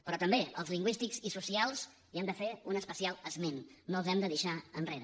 però també als lingüístics i socials hi hem de fer un especial esment no els hem de deixar enrere